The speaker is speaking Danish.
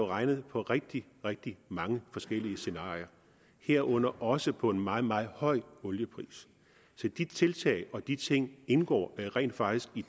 regnet på rigtig rigtig mange forskellige scenarier herunder også på en meget meget høj oliepris se de tiltag og de ting indgår rent faktisk